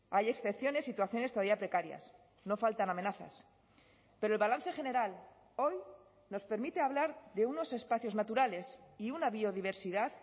hay excepciones situaciones todavía precarias no faltan amenazas pero el balance general hoy nos permite hablar de unos espacios naturales y una biodiversidad